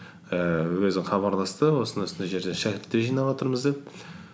ііі өзі хабарласты осындай осындай жерде шәкірттер жинаватырмыз деп